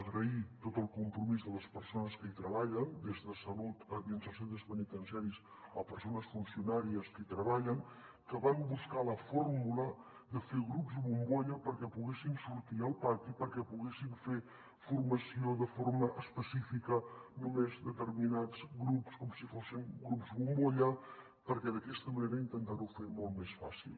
agrair tot el compromís de les persones que hi treballen des de salut dins dels centres penitenciaris a persones funcionàries que hi treballen que van buscar la fórmula de fer grups bombolla perquè poguessin sortir al pati perquè poguessin fer formació de forma específica només determinats grups com si fossin grups bombolla per d’aquesta manera intentar ho fer molt més fàcil